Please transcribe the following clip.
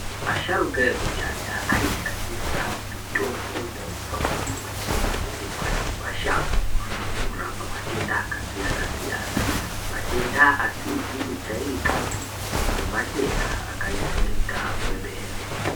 Asharuka ekudhaya aishandisa mitombo yaibva kumbuti nezvi rimwa nema shango kurapa matenda aka siyana siyana ma tenda asizi ku jairikapi nema tenda aka jairika kwemwene